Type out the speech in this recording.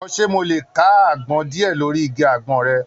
Jọ̀wọ́, ṣé mo lè ká àgbọn díẹ̀ lórí igi àgbọn rẹ̀?